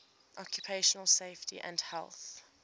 occupational safety and health